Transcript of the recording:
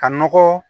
Ka nɔgɔ